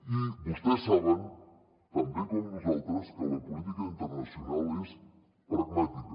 i vostès saben tan bé com nosaltres que la política internacional és pragmàtica